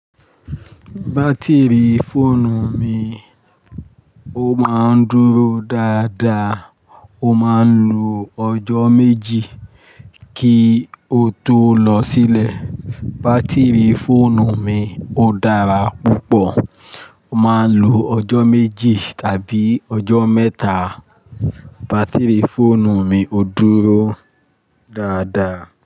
Batiri fóònù mi, ó máa ń dúró dáadáa, ó máa ń lo ọjọ́ méjì kí ó tó lọ sílẹ̀. Batiri fóònù mi ó dára púpọ̀, ó máa ń lo ọjọ́ méjì tàbí ọjọ́ mẹ́ta. Batiri fóònù mi ó dúró dáadáa.